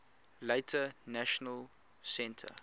later national centre